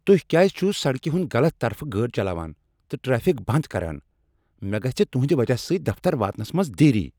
تُہۍ کیٛاز چھو سڑکہ ہنٛد غلط طرفہٕ گٲڑۍ چلاوان تہٕ ٹریفک بنٛد کران؟ مےٚ گژھہ تہندِ وجہ سۭتۍ دفتر واتنس منٛز دیری۔